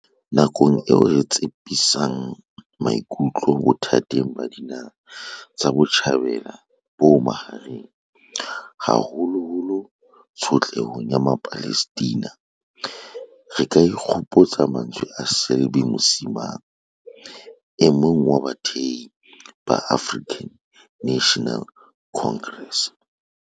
Nakong eo re tsepamisang maikutlo bothateng ba Dinaha tsa Botjhabela bo Bohareng, haholoholo tsho tlehong ya Mapalestina, re ka ikgopotsa mantswe a Selby Msimang, e mong wa bathehi ba African National Congress.